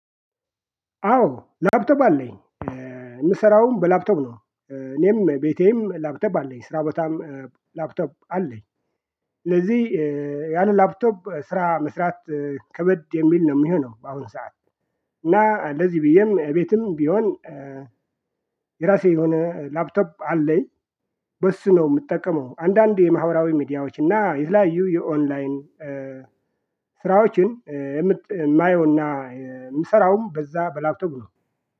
አዎ ላፕቶፕ አለኝ። የምሰራውም በላፕቶፕ ነው። እኔም ቤቴም ላፕቶፕ አለኝ። ስራ ቦታም ላፕቶፕ አለኝ። ስለዚህ ያንን ላፕቶፕ ስራ መስራት ከበድ የሚል ነው የሚሆነው በአሁን ሰዓት እና ለዚህ ብዬም እቤትም ቢሆን የራሴ የሆነ ላፕቶፕ አለኝ። በሱ ነው የምጠቀመው። አንዳንድ የማህበራዊ ሚዲያዎች እና የተለያዩ የኦንላይን ስራዎችን የምት የማየውና የምሰራውም በዛ በላፕቶፕ ነው።